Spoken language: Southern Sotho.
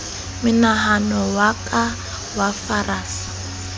menahano ya ka ya farasa